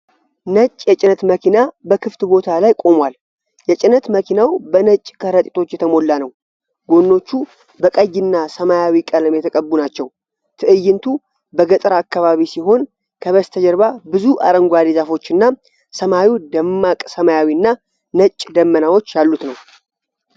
ነጭ የጭነት መኪና በክፍት ቦታ ላይ ቆሞል። የጭነት መኪናው በነጭ ከረጢቶች የተሞላ ነው። ጎኖቹ በቀይና ሰማያዊ ቀለም የተቀቡ ናቸው። ትዕይንቱ በገጠር አካባቢ ሲሆን ከበስተጀርባ ብዙ አረንጓዴ ዛፎችና ሰማዩ ደማቅ ሰማያዊ እና ነጭ ደመናዎች ያሉት ነው።